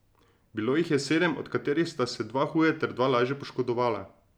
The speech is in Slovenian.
Bilo jih je sedem, od katerih sta se dva huje ter dva lažje poškodovala.